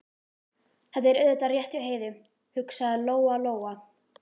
Þetta er auðvitað rétt hjá Heiðu, hugsaði Lóa Lóa.